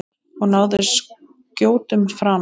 Og náði skjótum frama.